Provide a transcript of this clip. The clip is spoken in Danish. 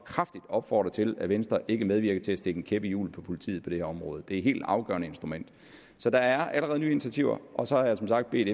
kraftigt opfordre til at venstre ikke medvirker til at stikke en kæp i hjulet for politiet på det her område det er et helt afgørende instrument så der er allerede nye initiativer og så har jeg som sagt bedt